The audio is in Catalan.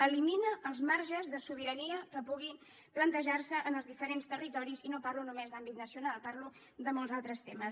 elimina els marges de sobirania que puguin plantejar se en els diferents territoris i no parlo només d’àmbit nacional parlo de molts altres temes